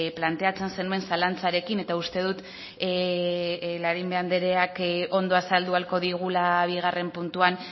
planteatzen zenuen zalantzarekin eta uste dut larrimbe andereak ondo azaldu ahalko digula bigarren puntuan